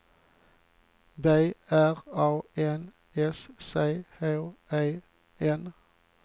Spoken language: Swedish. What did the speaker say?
B R A N S C H E N